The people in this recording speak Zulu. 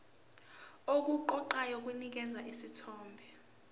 okuqoqayo kunikeza isithombe